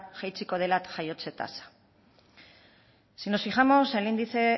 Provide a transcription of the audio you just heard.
jaitsiko da jaiotze tasa si nos fijamos el índice